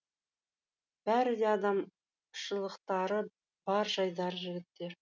бәрі де адамшылықтары бар жайдары жігіттер